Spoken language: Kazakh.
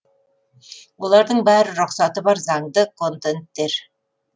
олардың бәрі рұқсаты бар заңды контенттер